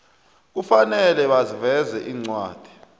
kufanele baveze incwadi